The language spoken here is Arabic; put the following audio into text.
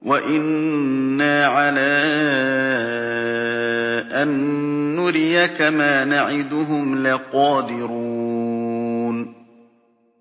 وَإِنَّا عَلَىٰ أَن نُّرِيَكَ مَا نَعِدُهُمْ لَقَادِرُونَ